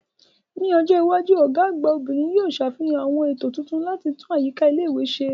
Ní ọjọ́ iwájú, Ọ̀gá àgbà obìnrin yóò sàfihàn àwọn ètò tuntun láti tún àyíká ilé ìwé ṣe si